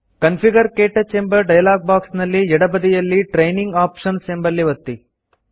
configure - ಕ್ಟಚ್ ಎಂಬ dialog box ನ ಎಡಬದಿಯಲ್ಲಿ ಟ್ರೇನಿಂಗ್ ಆಪ್ಷನ್ಸ್ ಎಂಬಲ್ಲಿ ಒತ್ತಿ